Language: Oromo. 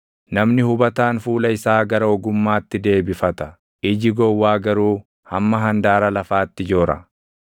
Namni hubataan fuula isaa gara ogummaatti deebifata; iji gowwaa garuu hamma handaara lafaatti joora.